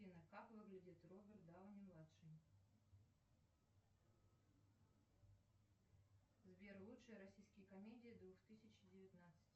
афина как выглядит роберт дауни младший сбер лучшие российские комедии две тысячи девятнадцать